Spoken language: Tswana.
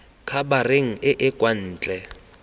khabareng e e kwa ntle